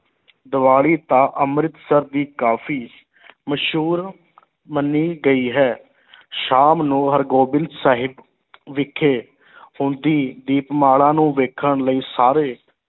ਦੀਵਾਲੀ ਤਾਂ ਅੰਮ੍ਰਿਤਸਰ ਦੀ ਕਾਫੀ ਮਸ਼ਹੂਰ ਮੰਨੀ ਗਈ ਹੈ ਸ਼ਾਮ ਨੂੰ ਹਰਿਗੋਬਿੰਦ ਸਾਹਿਬ ਵਿਖੇ ਹੁੰਦੀ ਦੀਪਮਾਲਾ ਨੂੰ ਵੇਖਣ ਲਈ ਸਾਰੇ